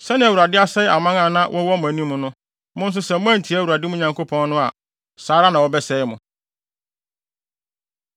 Sɛnea Awurade asɛe amanaman a na wɔwɔ mo anim no, mo nso sɛ moantie Awurade, mo Nyankopɔn no a, saa ara na wɔbɛsɛe mo.